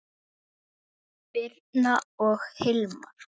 Birna og Hilmar.